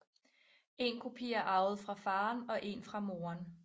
En kopi er arvet fra faren og en fra moren